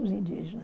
Os indígenas.